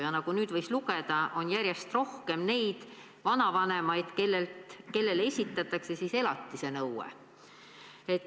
Ja nagu nüüd võis lugeda, järjest rohkem on vanavanemaid, kellele esitatakse elatisenõue.